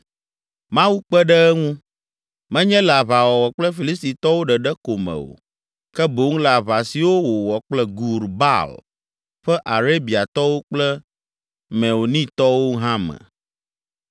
Mawu kpe ɖe eŋu, menye le aʋawɔwɔ kple Filistitɔwo ɖeɖe ko me o, ke boŋ le aʋa siwo wòwɔ kple Gur Baal ƒe Arabiatɔwo kple Meunitɔwo hã me.